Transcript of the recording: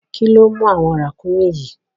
Kíló mú àwọn ràkúnmí yìí?